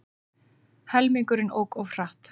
Helmingurinn ók of hratt